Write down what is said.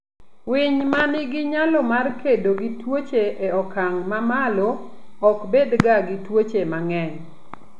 Winy ma nigi nyalo mar kedo gi tuoche e okang' mamalo ok bedga gi tuoche mang'eny.